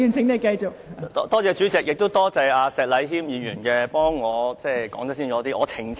多謝代理主席，亦多謝石禮謙議員替我澄清。